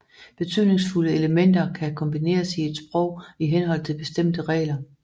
Betydningsfulde elementer kan kombineres i et sprog i henhold til bestemte regler